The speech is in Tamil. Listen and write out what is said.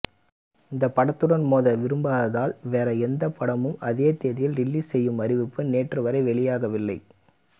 இந்த படத்துடன் மோத விரும்பாததால் வேறு எந்த படமும் அதே தேதியில் ரிலீஸ் செய்யும் அறிவிப்பு நேற்றுவரை வெளியாகவில்லை